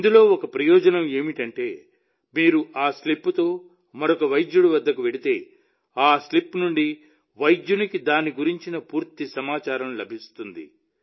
ఇందులో ఒక ప్రయోజనం ఏమిటంటే మీరు ఆ స్లిప్తో మరొక వైద్యుడి వద్దకు వెళితే ఆ స్లిప్ నుండే వైద్యుడికి దాని గురించి పూర్తి సమాచారం లభిస్తుంది